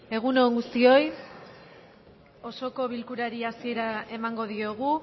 egun on guztioi osoko bilkurari hasiera emango diogu